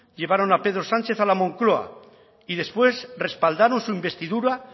llevaron a pedro sánchez a la moncloa y después respaldaron su investidura